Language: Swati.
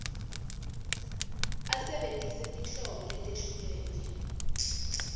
asebentise tinhlobo letehlukene